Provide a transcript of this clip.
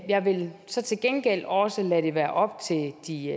jeg vil så til gengæld også lade det være op til de